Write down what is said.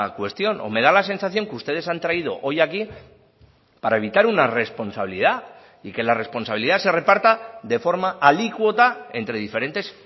cuestión o me da la sensación que ustedes han traído hoy aquí para evitar una responsabilidad y que la responsabilidad se reparta de forma alícuota entre diferentes